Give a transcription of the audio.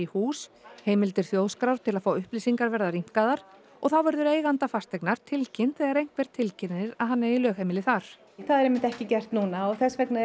hús heimildir Þjóðskrár til að fá upplýsingar verða rýmkaðar og þá verður eiganda fasteignar tilkynnt þegar einhver tilkynnir að hann eigi lögheimili þar það er einmitt ekki gert núna og þess vegna